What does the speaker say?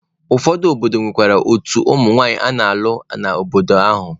Ụfọdụ obodo nwekwara otu ụmụ nwanyị a na-alụ n'obodo ahụ.